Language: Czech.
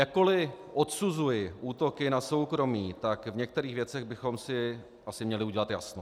Jakkoli odsuzuji útoky na soukromí, tak v některých věcech bychom si asi měli udělat jasno.